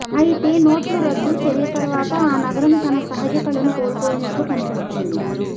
అయితే నోట్ల రద్దు చర్య తరువాత ఆ నగరం తన సహజ కళను కోల్పోయినట్లు కనిపిస్తోంది